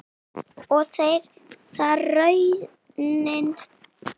Og er það raunin?